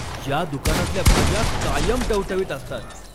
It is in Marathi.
या दुकानातल्या भाज्या कायम टवटवीत असतात!